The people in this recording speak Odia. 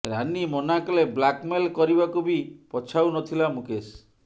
ରାନୀ ମନାକଲେ ବ୍ଲାକମେଲ କରିବାକୁ ବି ପଛାଉ ନଥିଲା ମୁକେଶ